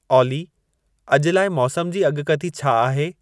ऑली अॼु लाइ मौसम जी अॻकथी छा आहे